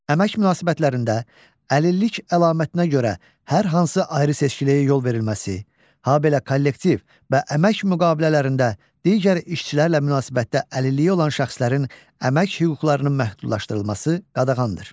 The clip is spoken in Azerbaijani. Əmək münasibətlərində əlillik əlamətinə görə hər hansı ayrı-seçkiliyə yol verilməsi, habelə kollektiv və əmək müqavilələrində digər işçilərlə münasibətdə əlilliyi olan şəxslərin əmək hüquqlarının məhdudlaşdırılması qadağandır.